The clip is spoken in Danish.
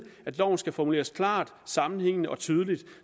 at loven skal formuleres klart sammenhængende og tydeligt